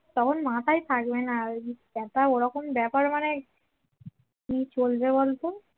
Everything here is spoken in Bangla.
কারো মাথায় থাকবে না একটা ব্যাপার ওরকম ব্যাপার মানে কি করব বল তো